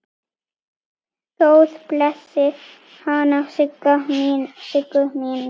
Guð blessi hana Siggu mína.